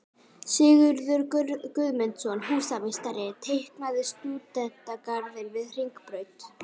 Sigurður Guðmundsson, húsameistari, teiknaði stúdentagarðinn við Hringbraut.